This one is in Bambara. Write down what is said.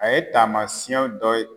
A ye taama siyɛn dɔ ye